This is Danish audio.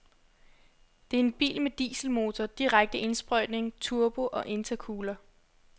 Det er en bil med dieselmotor, direkte indsprøjtning, turbo og intercooler.